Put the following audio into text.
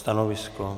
Stanovisko?